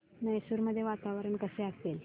मैसूर मध्ये वातावरण कसे असेल